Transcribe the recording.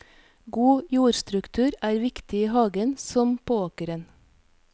God jordstruktur er viktig i hagen som på åkeren.